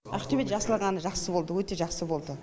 ақтөбеде ашылғаны жақсы болды өте жақсы болды